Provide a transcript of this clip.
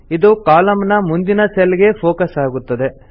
ಇದು ಕಾಲಂ ನ ಮುಂದಿನ ಸೆಲ್ ಗೆ ಫೋಕಸ್ ಆಗುತ್ತದೆ